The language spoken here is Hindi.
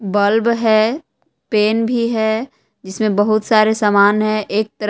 बल्ब है पेन भी है जिसमें बहुत सारे सामान है एक तरफ--